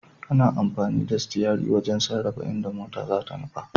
Ana amfani da sitiyari wajen sarrafa inda mota zata nufa.